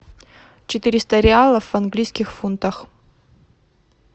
четыреста реалов в английских фунтах